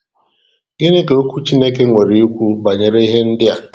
Gịnị ka Okwu Chineke nwere ikwu banyere ihe ndị a?